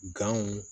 Ganw